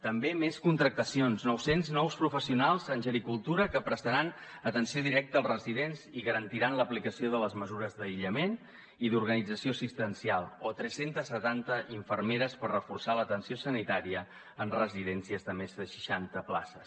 també més contractacions nou cents nous professionals en gericultura que prestaran atenció directa als residents i garantiran l’aplicació de les mesures d’aïllament i d’organització assistencial o tres cents i setanta infermeres per reforçar l’atenció sanitària en residències de més de seixanta places